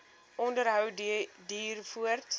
onderhou duur voort